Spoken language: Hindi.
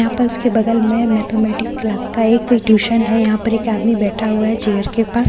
यहां पर उसके बगल में मैथा मेटिक्‍स क्‍लास का एक क ट्यूशन है यहां पर एक आदमी बैठा हुआ चेयर के पास और अ--